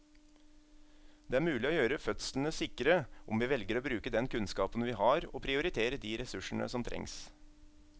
Det er mulig å gjøre fødslene sikre om vi velger å bruke den kunnskapen vi har og prioritere de ressursene som trengs.